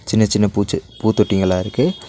சின்ன சின்ன பூச்சு பூத்தொட்டிங்களா இருக்கு.